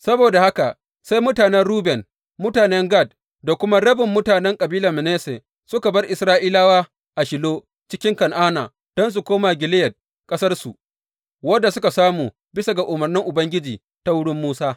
Saboda haka sai mutanen Ruben, mutanen Gad da kuma rabin mutanen kabilar Manasse, suka bar Isra’ilawa a Shilo cikin Kan’ana don su koma Gileyad, ƙasarsu, wadda suka samu bisa ga umarnin Ubangiji ta wurin Musa.